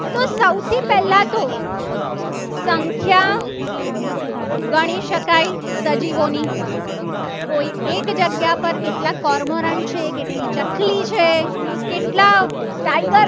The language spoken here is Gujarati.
સંખ્યા ગણી શકાય. સજીવોની કોઈ એક જગ્યા પર કેટલાક ચકલી છે. કેટલા tiger